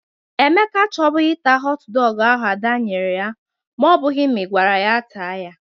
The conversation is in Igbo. Emeka achọbụgị ịta họt dọgụ ahụ Ada nyere ya ma ọ bụghị na ị gwara ya taa ya.